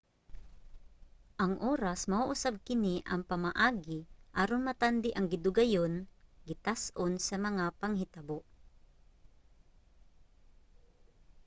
ang oras mao usab kini ang pamaagi aron matandi ang gidugayon gitas-on sa mga panghitabo